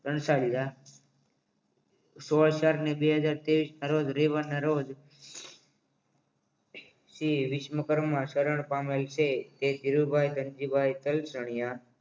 કણછાડીયા સોળ ચાર બે હજાર ત્રેવીસ ના રોજ રવિવારના રોજ શ્રી વિશ્વકર્મા શરણ પામેલ છે તે ધીરુભાઈ ધનજીભાઈ કલચણીયા